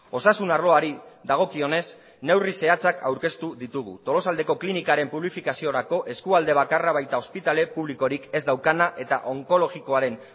osasun arloari dagokionez neurri zehatzak aurkeztu ditugu tolosaldeko klinikaren publifikaziorako eskualde bakarra baita ospitale publikorik ez daukana eta onkologikoaren